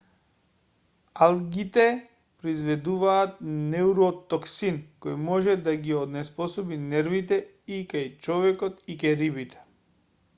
алгите произведуваат неуротоксин кој може да ги онеспособи нервите и кај човекот и кај рибите